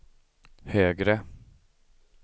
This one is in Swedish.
högre